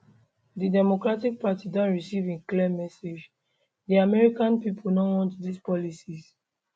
di democratic party don receive a clear message di american pipo no want dis policies